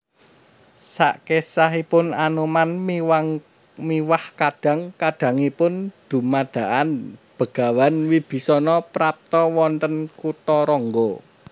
Sakesahipun Anoman miwah kadang kadangipun dumadakan Begawan Wibisana prapta wonten Kutharangga